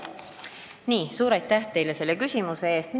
Suur aitäh teile selle küsimuse eest!